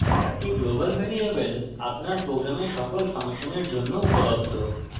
একটি global variable আপনার program সকল ফাংশনের জন্য উপলব্ধ